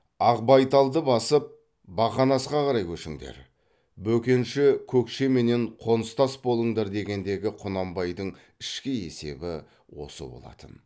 ақбайталды басып бақанасқа қарай көшіңдер бөкенші көкшеменен қоныстас болыңдар дегендегі құнанбайдың ішкі есебі осы болатын